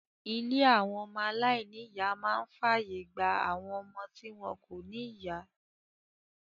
Ilé àwọn ọmọ aláìníìyá máa ń fàyè gba àwọn ọmọ tí wọn kò ní ìyá.